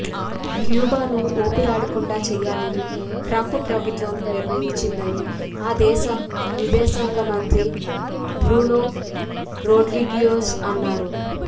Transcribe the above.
క్యూబాను ఊపిరాడకుండా చేయాలని ట్రంప్ ప్రభుత్వం నిర్ణయించిందని ఆ దేశ విదేశాంగ మంత్రి బ్రూనో రొడ్రిగుయెజ్ అన్నారు